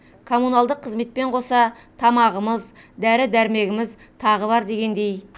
коммуналдық қызметпен қоса тамағымыз дәрі дермегіміз тағы бар дегендей